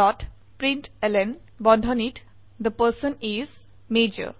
dot println বন্ধনীত the person is মাজৰ